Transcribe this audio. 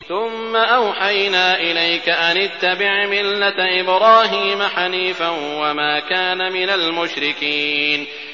ثُمَّ أَوْحَيْنَا إِلَيْكَ أَنِ اتَّبِعْ مِلَّةَ إِبْرَاهِيمَ حَنِيفًا ۖ وَمَا كَانَ مِنَ الْمُشْرِكِينَ